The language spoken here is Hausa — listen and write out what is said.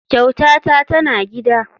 Kyautata tana gida.